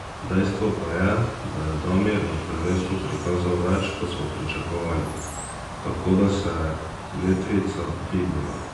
Dejstvo pa je, da je Damir na prvenstvu prikazal več, kot smo pričakovali, tako da se je letvica dvignila.